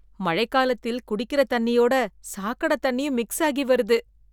மழைக்காலத்தில் குடிக்கிற தண்ணியோட சாக்கடை தண்ணியும் மிக்ஸ் ஆகி வருது